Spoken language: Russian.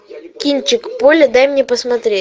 кинчик поле дай мне посмотреть